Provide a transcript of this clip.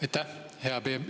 Aitäh!